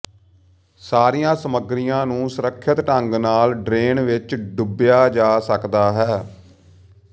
ਸਾਰੀਆਂ ਸਮੱਗਰੀਆਂ ਨੂੰ ਸੁਰੱਖਿਅਤ ਢੰਗ ਨਾਲ ਡਰੇਨ ਵਿੱਚ ਡੁੱਬਿਆ ਜਾ ਸਕਦਾ ਹੈ